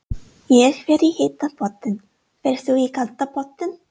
Ég fer í heita pottinn. Ferð þú í kalda pottinn?